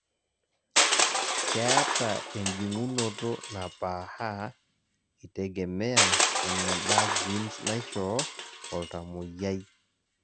keeta ejungunoto napaaha itegemea eneba genes naishoo oltamoyiai